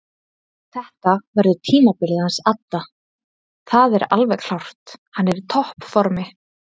Þetta verður tímabilið hans adda það er alveg klárt hann er í toppformi.